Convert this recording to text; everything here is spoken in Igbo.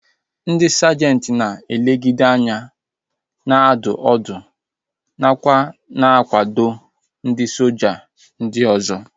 Ndị sajenti na-elegideanya, na-adụ ọdụ nakwa na-akwado ndị ọkwá soja ndị ọzọ